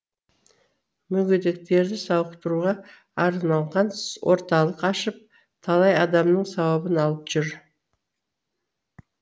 мүгедектерді сауықтыруға арналған орталық ашып талай адамның сауабын алып жүр